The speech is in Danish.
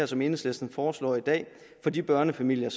som enhedslisten foreslår i dag for de børnefamilier